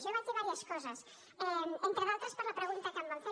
jo vaig dir diverses coses entre d’altres per la pregunta que em van fer